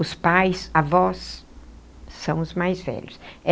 Os pais, avós, são os mais velhos.